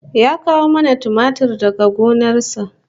Ya kawo mana tumatir daga gona sa